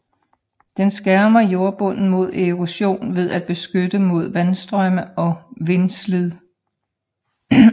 Den skærmer jordbunden mod erosion ved at beskytte mod vandstrømme og vindslid